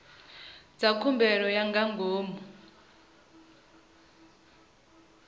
dza khumbelo ya nga ngomu